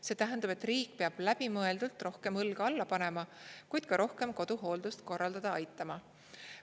See tähendab, et riik peab läbimõeldult rohkem õlga alla panema, kuid ka rohkem koduhooldust korraldada aitama.